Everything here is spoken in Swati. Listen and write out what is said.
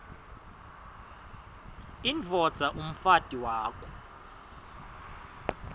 indvodza umfati wakho